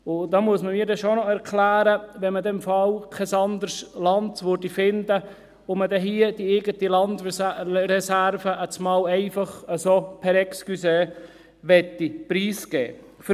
Wenn man dann im Fall kein anderes Land fände, müsste man mir schon noch erklären, warum man dann hier die eigene Landreserve auf einmal so «per excusé» preisgeben möchte.